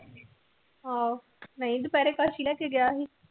ਹਮ ਮੈ ਹੀ ਦੁਪੀਹਰੇ